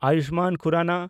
Ayushman Khurrana